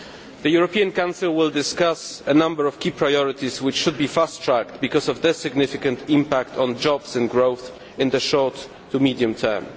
The European Council will discuss a number of key priorities which should be fast tracked because of their significant impact on jobs and growth in the short to medium term.